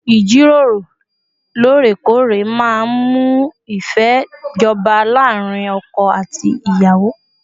Ìjíròrò lóòrèkóòrè máa ń mú ìfẹ́ jọba láàárín ọkọ àti ìyàwó